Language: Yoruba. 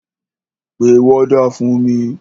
Pe wọ́dà fún mi!